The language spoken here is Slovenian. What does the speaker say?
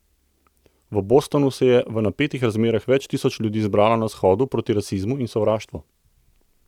V Bostonu se je v napetih razmerah več tisoč ljudi zbralo na shodu proti rasizmu in sovraštvu.